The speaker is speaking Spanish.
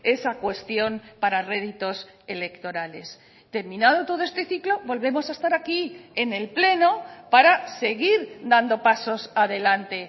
esa cuestión para réditos electorales terminado todo este ciclo volvemos a estar aquí en el pleno para seguir dando pasos adelante